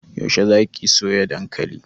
Yaushe za ki soya dankali?